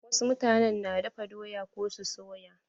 Wasu mutanen na dafa doya ko su soya.